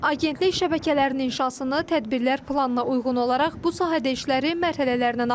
Agentlik şəbəkələrin inşasını tədbirlər planına uyğun olaraq bu sahədə işləri mərhələlərlə aparır.